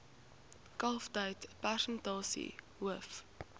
kalftyd persentasie hoof